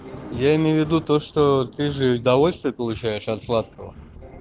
я имею в виду то что ты же удовольствие получаешь от сладкого